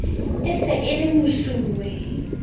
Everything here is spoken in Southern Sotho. e se e le mesuwe